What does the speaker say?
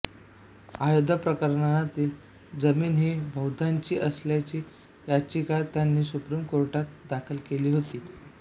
अयोद्या प्रकरणातील जमीन ही बौद्धांची असल्याची याचिका त्यांनी सुप्रिम कोर्टात दाखल केली होती